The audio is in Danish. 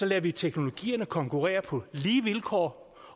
lader vi teknologierne konkurrere på lige vilkår